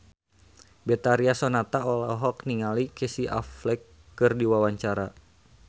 Betharia Sonata olohok ningali Casey Affleck keur diwawancara